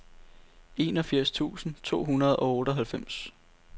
enogfirs tusind to hundrede og otteoghalvfems